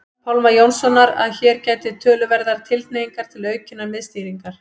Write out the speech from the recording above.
Pálma Jónssonar að hér gætir töluverðrar tilhneigingar til aukinnar miðstýringar.